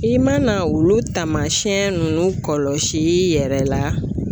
I mana olu taamasiyɛn nunnu kɔlɔsi i yɛrɛ la.